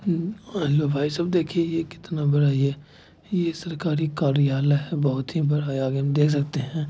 --ह-म-म और लो भाई साहब देखिए कितना बड़ा ये ये सरकारी कार्यालय है बहुत ही बड़ा आगे हम देख सकते है ।